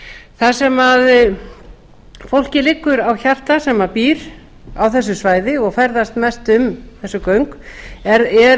það sem fólki liggur á hjarta sem býr á þessu svæði og ferðast mest um þessi göng er